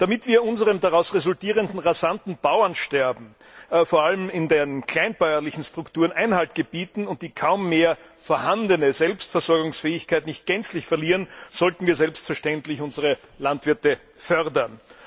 Damit wir unserem daraus resultierenden rasanten Bauernsterben vor allem in den kleinbäuerlichen Strukturen Einhalt gebieten und die kaum mehr vorhandene Selbstversorgungsfähigkeit nicht gänzlich verlieren, sollten wir selbstverständlich unsere Landwirte fördern.